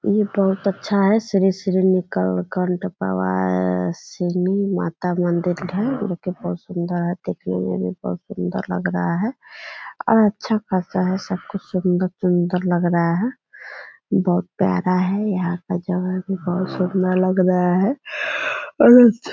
ये बहुत अच्छा है श्री श्री है | श्री माता मंदिर है जोकि बहुत सुंदर है देखने में भी बहुत सुंदर लग रहा है और अच्छा खासा है सब कुछ सुंदर सुंदर लग रहा है बहुत प्यारा है | यहाँ का जगह भी बहुत सुंदर लग रहा है और अच्छा --